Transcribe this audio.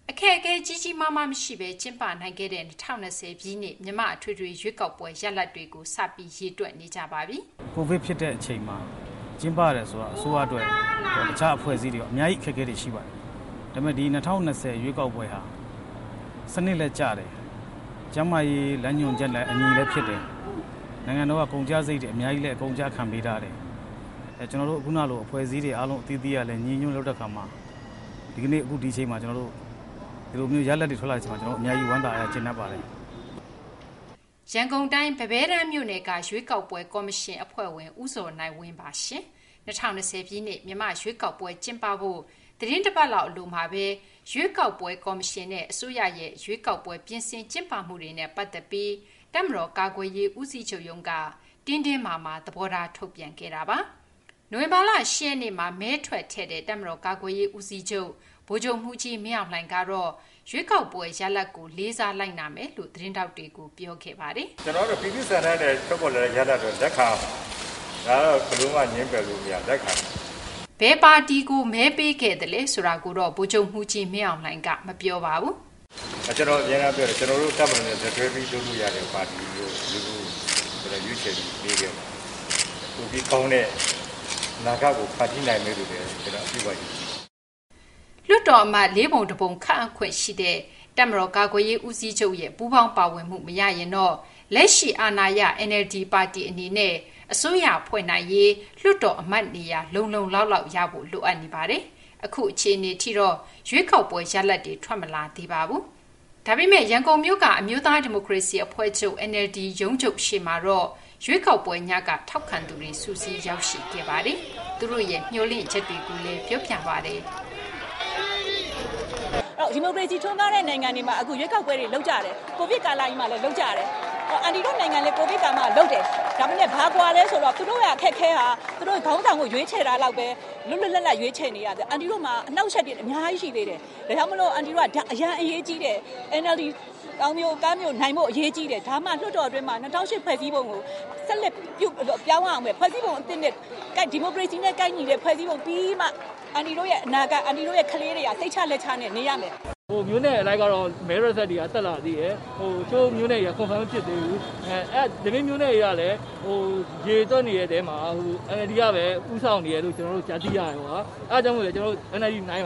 အခက်အခဲ ကြီးကြီးမားမားမရှိဘဲ ကျင်းပနိုင်ခဲ့တဲ့ ၂၀၂၀ ပြည့်နှစ် မြန်မာ့ အထွေထွေရွေးကောက်ပွဲ ရလဒ်တွေကို ရေတွက်နေကြဆဲပါ။ “ကိုဗစ်ဖြစ်တဲ့အချိန်မှာ ကျင်းပရတော့ အစိုးရအတွက်ရော တခြား အဖွဲ့အစည်းတွေရော အများကြီး အခက်အခဲရှိပါတယ်။ ဒါပေမယ့် ဒီ ၂၀၂၀ ရွေးကောက်ပွဲဟာ စနစ်လည်းကျတယ်။ ကျန်းမာရေးနဲ့အညီလည်း လုပ်ဖြစ်တယ်။” ရန်ကုန်တိုင်း ပန်းဘဲတန်းမြို့နယ်က ရွေးကောက်ပွဲကော်မရှင် အဖွဲ့ဝင် ဦးဇော်နိုင်ဝင်း ပြောပြသွားတာပါ။ ၂၀၂၀ ပြည့်နှစ် မြန်မာ့ရွေးကောက်ပွဲ ကျင်းပဖို့ သီတင်းတပတ်လောက် အလိုမှာပဲ ရွေးကောက်ပွဲကော်မရှင်နဲ့ အစိုးရရဲ့ ရွေးကောက်ပွဲ ပြင်ဆင်ကျင်းပမှုတွေနဲ့ ပတ်သက်ပြီး တပ်မတော် ကာကွယ်ရေးဦးစီးချုပ်ရုံးက တင်းတင်းမာမာ သဘောထား ထုတ်ပြန်ခဲ့တာပါ။ နိုဝင်ဘာလ ၈ ရက်နေ့မှာ မဲထွက်ထည့်တဲ့ တပ်မတော် ကာကွယ်ရေးဦးစီးချုပ် ဗိုလ်ချုပ်မှူးကြီး မင်းအောင်လှိုင်က ရွေးကောက်ပွဲရလဒ်ကို လေးစားလိုက်နာမယ်လို့ သတင်းထောက်တွေကို ပြောခဲ့ပါတယ်။ “ကျနော်ကတော့ ပြည်သူ့ဆန္ဒနဲ့ ထွက်ပေါ်လာတဲ့ရလဒ်ကို လက်ခံရမှာပဲ။ ဒါကတော့ ဘယ်လိုမှ ငြင်းပယ်လို့မရဘူး လက်ခံရမှာပဲ။” ဘယ်ပါတီကို မဲပေးသလဲ ဆိုတာကို ဗိုလ်ချုပ်မှူးကြီး မင်းအောင်လှိုင်က မပြောပါဘူး။ “ကျနော် အမြဲတမ်းပြောတယ်။ ကျနော်တို့ တပ်မတော်နဲ့ လက်တွဲပြီး လုပ်လို့ရမယ့် ပါတီကို ရွေးချယ်ပြီး ပေးခဲ့ပါတယ်။ ပိုပြီးကောင်းတဲ့ အနာဂတ်ကို ဖန်တီးနိုင်မယ်လို့ ကျနော် အပြည့်အဝ ယုံကြည်ပါတယ်။” လွှတ်တော်အမတ် ၄ ပုံ ၁ ပုံကို ခန့်အပ်ခွင့်ရှိထားတဲ့ တပ်မတော် ကာကွယ်ရေးဦးစီးချုပ်ရဲ့ ပူးပေါင်းပါဝင်မှု မရရင်တော့ လက်ရှိအာဏာရ NLD ပါတီ အနေနဲ့ အစိုးရဖွဲ့နိုင်ရေး လွှတ်တော်အမတ်နေရာ လုံလုံလောက်လောက်ရဖို့ လိုအပ်ပါတယ်။ အခုအခြေအနေအထိတော့ ရွေးကောက်ပွဲရလဒ်တွေ ထွက်မလာသေးပါဘူး။ ဒါပေမယ့် ရန်ကုန်မြို့က အမျိုးသားဒီမိုကရေစီအဖွဲ့ချုပ် NLD ရုံးရှေ့မှာတော့ ရွေးကောက်ပွဲညက ထောက်ခံသူတွေ စုစည်း ရောက်ရှိခဲ့ကြပါတယ်။ သူတို့ရဲ့ မျှော်လင့်ချက်ကိုလည်း ပြောပြကြပါတယ်။ “ဒီမိုကရေစီထွန်းကားတဲ့ နိုင်ငံတွေမှာ အခု ရွေးကောက်ပွဲတွေ လုပ်ကြတယ်။ ကိုဗစ်ကာလကြီးမှာလည်း လုပ်ကြတယ်။ အန်တီတို့နိုင်ငံလည်း ကိုဗစ်ကာလမှာ လုပ်တယ်။ ဒါပေမယ့် ဘာကွာလဲဆိုတော့ သူတို့က ခေါင်းဆောင်ကို ရွေးချယ်တာလောက်ပဲ လွတ်လွတ်လပ်လပ် ရွေးချယ်လို့ရတယ်။ အန်တီတို့မှာက အနှောင့်အယှက်တွေ အများကြီးရှိသေးတယ်။ ဒါကြောင့်မို့လို့ အန်တီတို့က ဒါ အရေးကြီးတယ်။ NLD သောင်ပြိုကမ်းပြိုနိုင်ဖို့ အရေးကြီးတယ်။ ဒါမှ လွှတ်တော်တွင်းမှာ ၂၀၀၈ ဖွဲ့စည်းပုံကို ပြောင်းရဦးမယ်။ ဒီမိုကရေစီနဲ့ ကိုက်ညီတဲ့ ဖွဲ့စည်းပုံပြီးမှ အန်တီတို့ရဲ့ အနာဂတ် အန်တီတို့ ကလေးတွေက စိတ်ချလက်ချနဲ့ နေရမယ်။” “မြို့နယ်အလိုက်တော့ မဲရလဒ်တွေက ဆက်လာသေးတယ်။ တချို့မြို့နယ်တွေက Confirm မဖြစ်သေးဘူး။ ဒီ့ပြင်မြို့နယ်တွေမှာ ရေတွက်နေတဲ့ အထဲမှာ NLD ကပဲ ဦးဆောင်နေတယ်လို့ ကျနော်တို့ ကြားသိရတယ်။ အဲဒါကြောင့်မို့လို့ ကျနော်တို့ NLD နိုင်